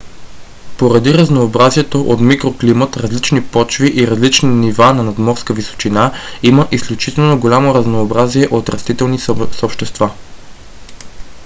поради разнообразието от микроклимат различни почви и различни нива на надморска височина има изключително голямо разнообразие от растителни съобщества